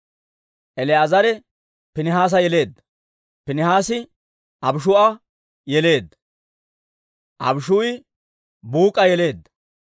El"aazare Piinihaasa yeleedda; Piinihaasi Abishuu'a yeleedda; Abishuu'i Buuk'a yeleedda;